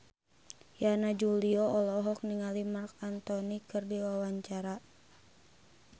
Yana Julio olohok ningali Marc Anthony keur diwawancara